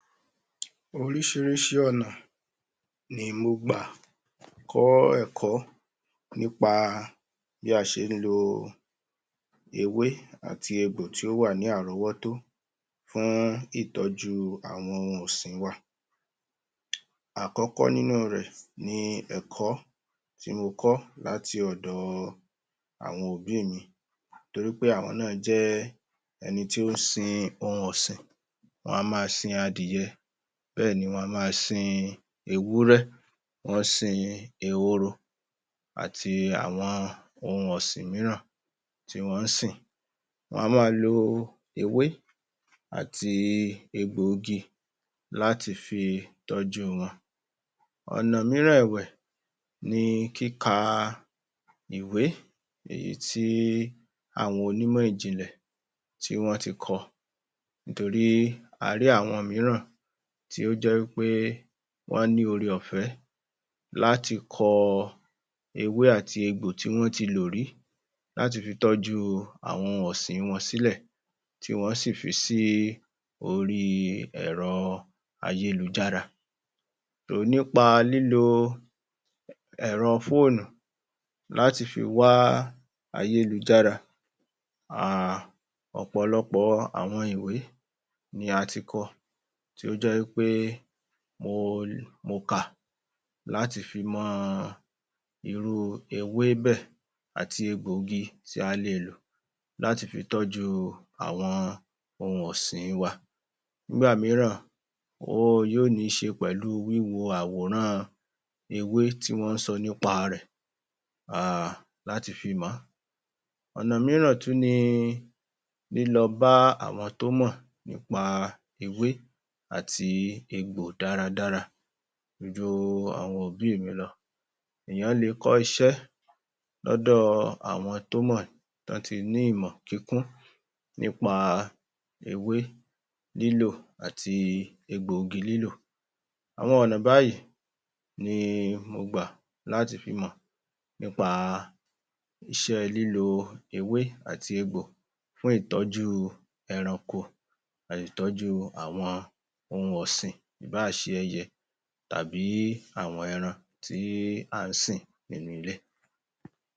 Oríṣiríṣi ọ̀nà ni mo gbà kọ́ ẹ̀kọ́ nípa bí a ṣe ń lo ewé àti egbò tí ó wà ní àrọ́wọ́tó fún ìtọ́jú àwọn ohun ọ̀sìn wa Àkọ́kọ́ nínú rẹ̀ ní ẹ̀kọ́ tí mo kọ́ láti ọ̀dọ̀ àwọn òbí mi torí pé àwọn náà jẹ́ àwọn tí ó ń sin ohun ọ̀sìn Wọ́n a máa sin adìẹ, bẹ́ẹ̀ ni wọ́n a máa sin ewúrẹ́, wọ́n ń sin ehoro àti àwọn ohun ọ̀sìn míràn tí wọ́n ń sìn Wọ́n á máa lo ewé àti egbòogi láti fi tọ́jú wọn ọ̀nà míràn ẹ̀wẹ̀, ni kíka ìwé èyí tí àwọn onímọ̀ ìjìnlẹ̀ tí wọ́n ti kọ ọ̀nà míràn ẹ̀wẹ̀, ni kíka ìwé èyí tí àwọn onímọ̀ ìjìnlẹ̀ tí wọ́n ti kọ láti fi tọ́jú àwọn ohun ọ̀sìn wọn sílẹ̀ kí wọ́n sì fi sí orí ẹ̀rọ ayélujára nípa lílo ẹ̀rọ fóónù láti fi wá ayélujára Umm...ọ̀pọ̀lọpọ̀ àwọn ìwé ni a ti kọ tí ó jẹ́ wí pé mo kà láti fi mọ irú ewé bẹ́ẹ̀ àti egbòogi tí a lè lò láti fi tọ́jú àwọn ohun ọ̀sìn wa. Nígbà mìíràn, yóò ní í ṣe pẹ̀lú wíwo àwòran ewé tí wọ́n ń sọ nípa rẹ̀ umm...láti fi mọ̀ ọ́.ọ̀nà mìíràn tún ni lílọ bá àwọn tó mọ̀ nípa ewé àti egbò dáradára ju àwọn òbí mi lọ èèyàn lè kọ́ iṣẹ́ lọ́dọ̀ àwọn tó mọ̀ tí wọ́n ti ní ìmọ̀ kíkún nípa ewé lílò àti egbòogi lílò Àwọn ọ̀nà báyìí ni mo gbà láti fi mọ̀ nípa iṣẹ́ lílo ewé àti egbò fún ìtọ́jú ẹranko àti ìtọ́jú àwọn ohun ọ̀sìn ìbáà ṣe ẹyẹ tàbí àwọn ẹran tí à ń sìn nínú ilé